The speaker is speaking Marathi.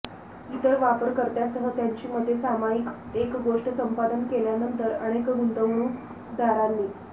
इतर वापरकर्त्यांसह त्यांची मते सामायिक एक गोष्ट संपादन केल्यानंतर अनेक गुंतवणूकदारांनी